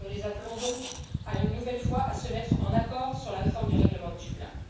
Nous les appelons donc une nouvelle fois à se mettre d'accord sur la réforme du règlement de Dublin.